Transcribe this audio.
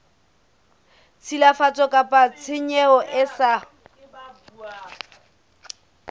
tshilafatso kapa tshenyo e sa